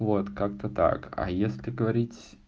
вот как-то так а если говорить